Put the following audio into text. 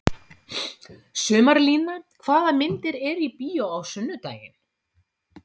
Sumarlína, hvaða myndir eru í bíó á sunnudaginn?